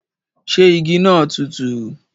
Ṣé igi naa tùtù?